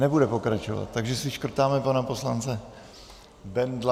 Nebude pokračovat, takže si škrtáme pana poslance Bendla.